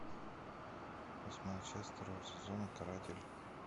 восьмая часть второго сезона каратель